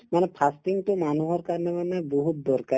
মানে fasting তো মানুহৰ কাৰণে মানে বহুত দৰকাৰী